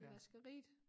I vaskeriet